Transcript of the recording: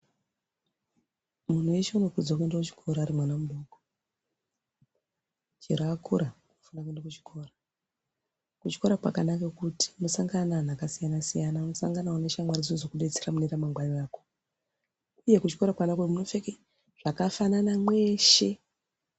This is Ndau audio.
Muntu weshe anokurudzirwa kuenda kuchikora zveakura akaenda kuchikora kuchikora kwakanaka kuti anosangana neantu akasiyana siyana osangana neshamwari dzekudetsera uye kuchikora munopfeka zvakafana kwesha.